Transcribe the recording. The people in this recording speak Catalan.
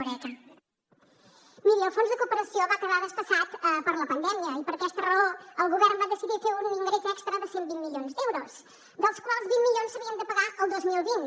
miri el fons de cooperació va quedar desfasat per la pandèmia i per aquesta raó el govern va decidir fer un ingrés extra de cent i vint milions d’euros dels quals vint milions s’havien de pagar el dos mil vint